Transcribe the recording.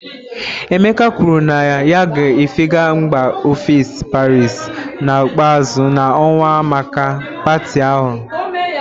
Emeka kwuru na ya ga-efega mba ofesi Paris na ikpeazụ na ọnwa a maka pati ahụ